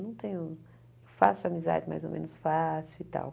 Não tenho... Faço amizade mais ou menos fácil e tal.